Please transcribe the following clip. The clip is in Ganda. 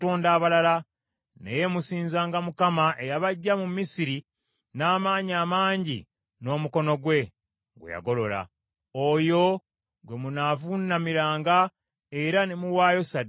Naye musinzanga Mukama eyabaggya mu Misiri n’amaanyi amangi n’omukono gwe, gwe yagolola. Oyo ggwe munavuunamiranga era ne muwaayo ssaddaaka eri ye.